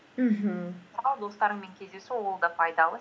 мхм мысалы достарыңмен кездесу ол да пайдалы